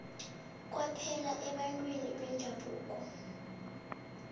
kwaphela ebantwini bendabuko